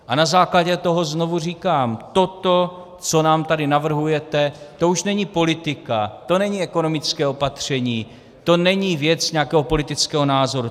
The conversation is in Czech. A na základě toho znovu říkám: toto, co nám tady navrhujete, to už není politika, to není ekonomické opatření, to není věc nějakého politického názoru.